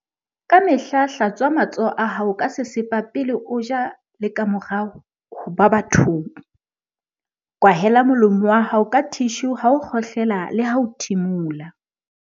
Kamehla hlatswa matsoho a hao ka sesepa pele o ja le kamora ho ba bathong. Kwahela molomo wa hao ka thishu ha o kgohlela leha ho thimola.